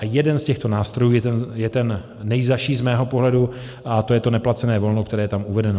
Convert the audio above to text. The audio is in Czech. A jeden z těchto nástrojů je ten nejzazší z mého pohledu a to je to neplacené volno, které je tam uvedeno.